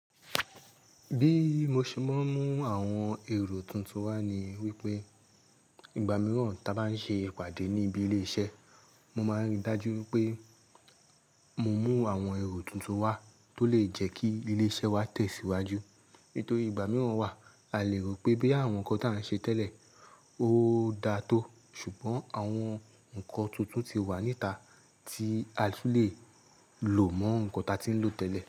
Bí mo ṣe máa ń mú àwọn èrò tuntun wá ni wípé ìgbà mìíràn tí a bá ń ṣe ìpàdé níbi ilé iṣẹ́, mo máa ń rí i dájú pé mo mú àwọn èrò tuntun wá tó lè jẹ́ kí ilé iṣẹ́ wa tẹ̀síwájú. Nítorí ìgbà mìíràn wà, a lè rò pé bí àwọn nǹkan tí à ń ṣe tẹ́lẹ̀ ó dáa tó, ṣùgbọ́n àwọn ǹkan tuntun ti wà níta tí a tun lè lò mọ́ ǹkan tí a ti ń lò tẹ́lẹ̀